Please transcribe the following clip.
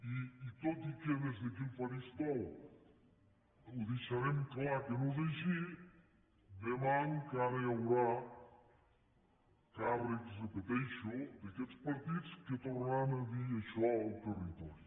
i tot i que des d’aquí al faristol ho deixarem clar que no és així demà encara hi haurà càrrecs ho repeteixo d’aquests partits que tornaran a dir això al territori